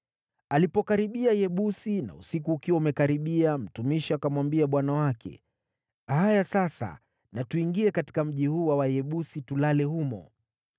Alipokaribia Yebusi na usiku ukiwa umekaribia, mtumishi akamwambia bwana wake, “Haya sasa natuingie katika mji huu wa Wayebusi tulale humo.”